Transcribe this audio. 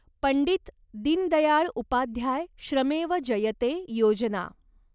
Pandit Deendayal Upadhyay Shramev Jayate Yojana